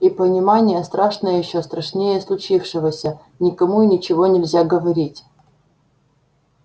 и понимание страшное ещё страшнее случившегося никому и ничего нельзя говорить